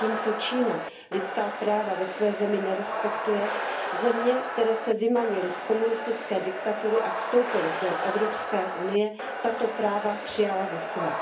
Zatímco Čína lidská práva ve své zemi nerespektuje, země, které se vymanily z komunistické diktatury a vstoupily do Evropské unie, tato práva přijala za své.